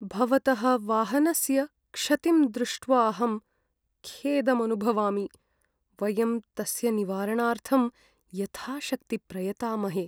भवतः वाहनस्य क्षतिं दृष्ट्वाहं खेदम् अनुभवामि। वयं तस्य निवारणार्थं यथाशक्ति प्रयतामहे।